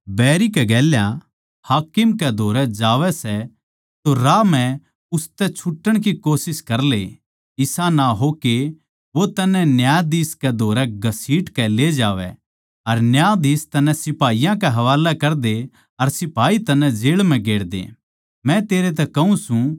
जिब तू अपणे बैरी कै गेल्या हाकिम कै धोरै जावै सै तो राही म्ह उसतै छुटण की कोशिश करले इसा ना हो के वो तन्नै न्यायाधीश कै धोरै घसीट कै ले जावै अर न्यायाधीश तन्नै सिपाही के हवालै करदे अर सिपाही तन्नै जेळ म्ह गेर दे